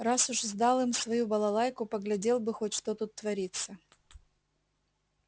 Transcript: раз уж сдал им свою балалайку поглядел бы хоть что тут творится